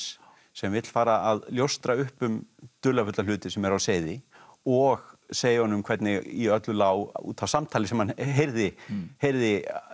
sem vill fara að ljóstra upp um dularfulla hluti sem eru á seyði og segja honum hvernig í öllu lá út af samtali sem hann heyrði heyrði